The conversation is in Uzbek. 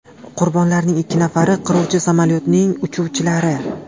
Qurbonlarning ikki nafari qiruvchi samolyotning uchuvchilari.